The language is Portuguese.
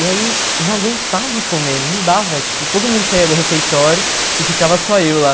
E aí eu não aguentava comer, não dava, tipo, todo mundo saia do refeitório e ficava só eu lá.